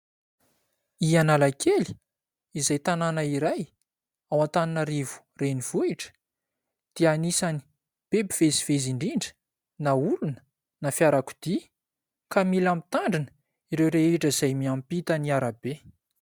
I Analakely, izay tanàna iray ao Antananarivo Renivohitra dia anisany be mpivezivezy indrindra, na olona na fiarakodia, ka mila mitandrina ireo rehetra izay miampita ny arabe.